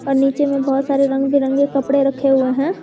और नीचे में बहुत सारे रंग बिरंगे कपड़े रखे हुए हैं।